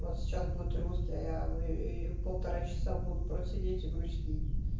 вот сейчас будет русский я полтора часа буду просто сидеть и грустить